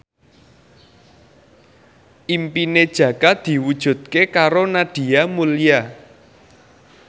impine Jaka diwujudke karo Nadia Mulya